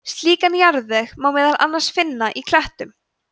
slíkan jarðveg má meðal annars finna í klettum